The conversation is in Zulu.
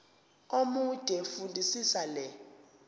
omude fundisisa le